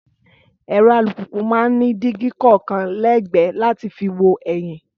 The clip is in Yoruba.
Ẹ̀rọ alùpùpù máa ń ní dígí kọ̀ọ̀kan lẹ́gbẹ̀ẹ́ láti fi wo ẹ̀yìn